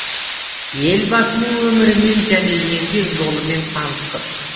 елбасының өмірімен және еңбек жолымен таныстық